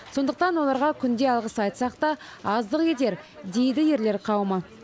сондықтан оларға күнде алғыс айтсақ та аздық етер дейді ерлер қауымы